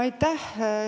Aitäh!